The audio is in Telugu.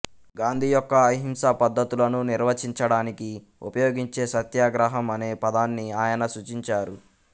గాంధీ యొక్క అహింసా పద్ధతులను నిర్వచించడానికి ఉపయోగించే సత్యాగ్రహం అనే పదాన్ని ఆయన సూచించారు